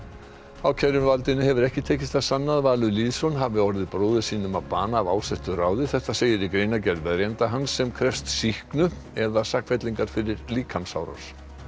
ákæruvaldinu hefur ekki tekist að sanna að Valur Lýðsson hafi orðið bróður sínum að bana af ásettu ráði þetta segir í greinargerð verjanda hans sem krefst sýknu eða sakfellingar fyrir líkamsárás